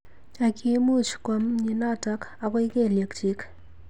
Ak kimuch kwo mnyenotok akoi kelyek chik.